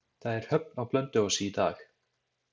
Það er höfn á Blönduósi í dag.